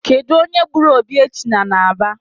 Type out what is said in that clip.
Kedu onye gburu Obiechina n'Aba